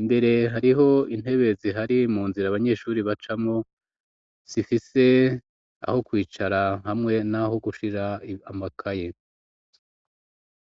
imbere hariho intebe zihari mu nzira abanyeshuri bacamwo zifise aho kwicara hamwe n'aho gushira amakaye.